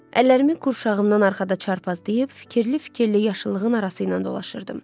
Əllərimi qurşağımdan arxada çarpazlayıb, fikirli-fikirli yaşıllığın arası ilə dolaşırdım.